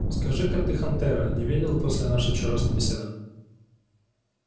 скажи-ка ты хантера не видел после нашей вчерашней беседы